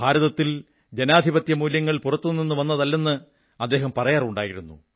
ഭാരതത്തിൽ ജനാധിപത്യമൂല്യങ്ങൾ പുറത്തുനിന്നും വന്നതല്ലെന്ന് അദ്ദേഹം പറയാറുണ്ടായിരുന്നു